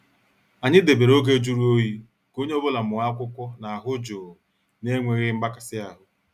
Anyị debere oge jụrụ oyi ka onye ọ bụla mụọ akwụkwọ n' ahụ jụụ na enweghị mgbakasi ahụ.